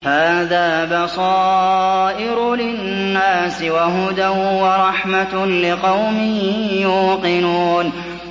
هَٰذَا بَصَائِرُ لِلنَّاسِ وَهُدًى وَرَحْمَةٌ لِّقَوْمٍ يُوقِنُونَ